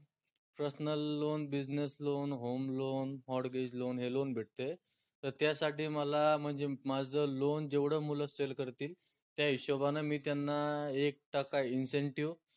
personal loan business loan, home loan Mortgage loan हे loan भेटते त त्यासाठी मला म्हनजे माझं loan जेवढं मुलं sale करतील त्या हिशोबान मी त्यांना एक टक्का Incentive